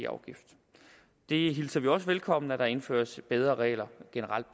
afgift vi hilser det også velkommen at der generelt indføres bedre regler